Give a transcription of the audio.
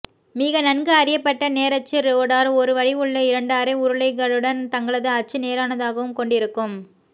மிக நன்கு அறியப்பட்ட நேரச்சு ரோடார் ஒரே வடிவுள்ள இரண்டு அரை உருளைகளுடன் தங்களது அச்சு நேரானதாகவும் கொண்டிருக்கும்